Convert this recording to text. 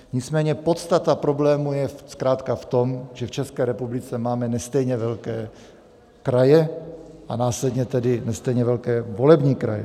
Nicméně podstata problému je zkrátka v tom, že v České republice máme nestejně velké kraje, a následně tedy nestejně velké volební kraje.